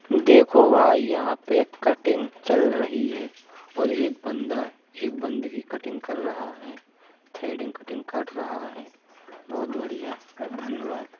देखो भाई यहां पर कटिंग चल रही है और एक बंदा एक बंदे की कटिंग कर रहा है थ्रेडिंग कटिंग कर रहा है बहुत बढ़िया धन्यवाद।